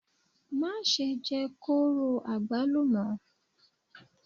Má ṣe jẹ kóró àgbálùmọ́!